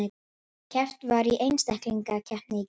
Keppt var í einstaklingskeppni í gær